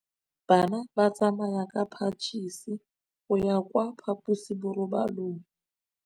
Bana ba tsamaya ka phašitshe go ya kwa phaposiborobalong.